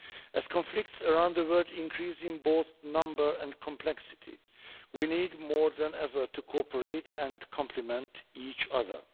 As conflicts around the world increase both in number and complexity, we need more than ever to cooperate and complement each other.